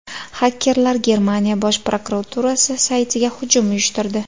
Xakerlar Germaniya bosh prokuraturasi saytiga hujum uyushtirdi.